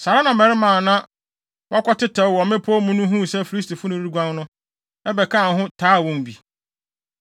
Saa ara na mmarima a na wɔakɔtetɛw wɔ mmepɔw mu no huu sɛ Filistifo no reguan no, bɛkaa ho taa wɔn bi.